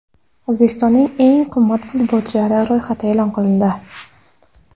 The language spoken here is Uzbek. O‘zbekistonning eng qimmat futbolchilari ro‘yxati e’lon qilindi.